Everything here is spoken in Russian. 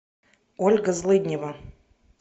ольга злыднева